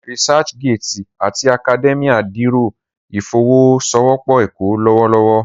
ResearchGate ati Academia dẹrọ ifowosowopo ẹkọ lọwọlọwọ.